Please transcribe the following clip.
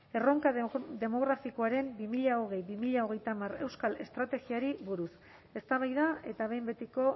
erronka demografikoaren bi mila hogei bi mila hogeita hamar euskal estrategiari buruz eztabaida eta behin betiko